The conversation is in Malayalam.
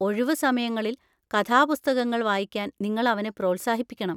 ഒഴിവുസമയങ്ങളിൽ കഥാപുസ്തകങ്ങൾ വായിക്കാൻ നിങ്ങൾ അവനെ പ്രോത്സാഹിപ്പിക്കണം.